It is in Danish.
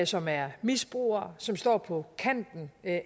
som er misbrugere som står på kanten af